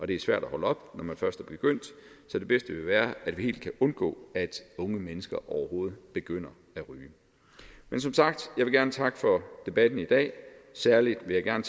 det er svært at holde op når man først er begyndt så det bedste vil være at vi helt kan undgå at unge mennesker overhovedet begynder at ryge men som sagt vil jeg gerne takke for debatten i dag særlig vil jeg gerne